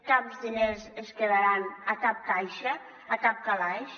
cap diner es quedarà a cap caixa a cap calaix